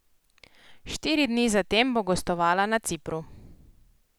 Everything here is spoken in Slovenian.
Štiri dni zatem bo gostovala na Cipru.